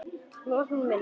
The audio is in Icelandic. Með opinn munn.